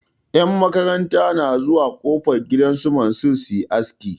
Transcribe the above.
Yan makaranta na zuwa kofar gidan su Mansir su yi aski.